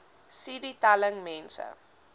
cd telling mense